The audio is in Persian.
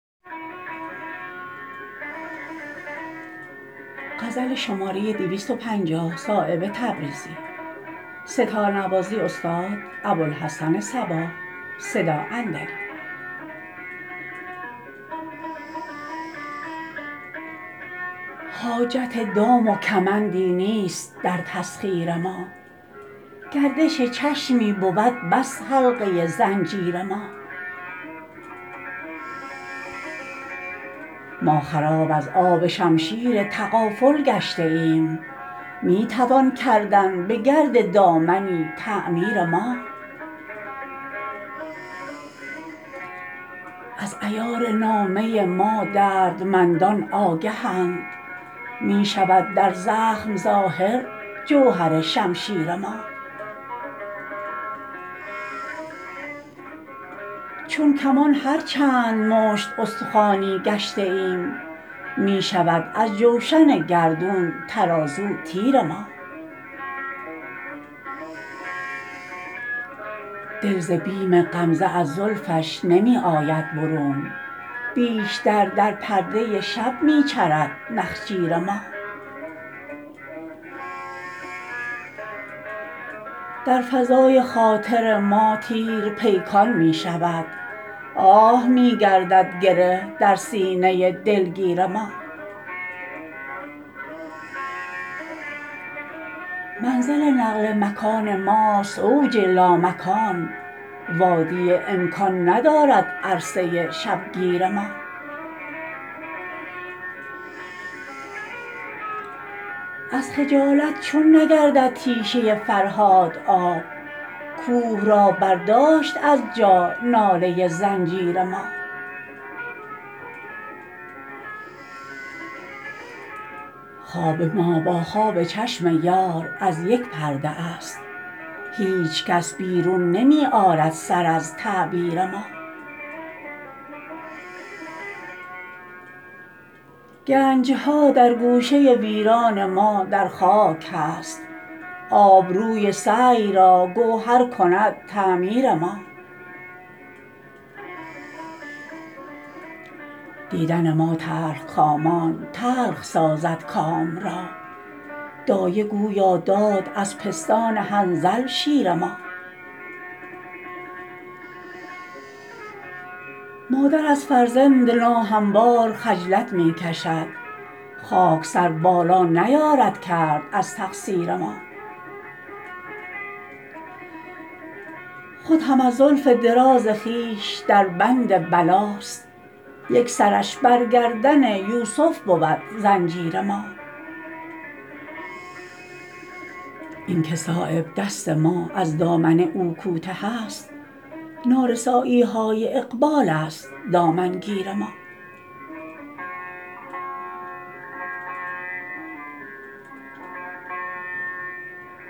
حاجت دام و کمندی نیست در تسخیر ما گردش چشمی بود بس حلقه زنجیر ما ما خراب از آب شمشیر تغافل گشته ایم می توان کردن به گرد دامنی تعمیر ما از عیار نامه ما دردمندان آگهند می شود در زخم ظاهر جوهر شمشیر ما چون کمان هر چند مشت استخوانی گشته ایم می شود از جوشن گردون ترازو تیر ما دل ز بیم غمزه از زلفش نمی آید برون بیشتر در پرده شب می چرد نخجیر ما در فضای خاطر ما تیر پیکان می شود آه می گردد گره در سینه دلگیر ما منزل نقل مکان ماست اوج لامکان وادی امکان ندارد عرصه شبگیر ما از خجالت چون نگردد تیشه فرهاد آب کوه را برداشت از جا ناله زنجیر ما خواب ما با خواب چشم یار از یک پرده است هیچ کس بیرون نمی آرد سر از تعبیر ما گنجها در گوشه ویران ما در خاک هست آبروی سعی را گوهر کند تعمیر ما دیدن ما تلخکامان تلخ سازد کام را دایه گویا داد از پستان حنظل شیر ما مادر از فرزند ناهموار خجلت می کشد خاک سر بالا نیارد کرد از تقصیر ما خود هم از زلف دراز خویش دربند بلاست یک سرش بر گردن یوسف بود زنجیر ما این که صایب دست ما از دامن او کوته است نارسایی های اقبال است دامنگیر ما